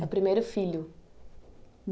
É o primeiro filho.